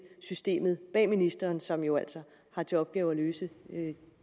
systemet bag ministeren som jo altså har til opgave at løse